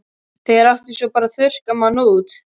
Þegar átti svo bara að þurrka mann út?